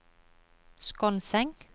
Skonseng